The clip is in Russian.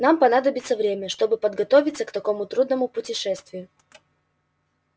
нам понадобится время чтобы подготовиться к такому трудному путешествию